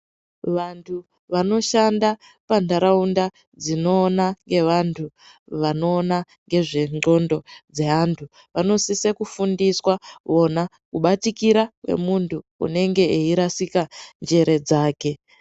Vantu vanoshanda panharaunda dzinoona ngevantu vanoona ngezvenxondo dzevantu. Vanosise kufundiswa vona kupatikira kwemuntu kunenge eirasika njere dzake.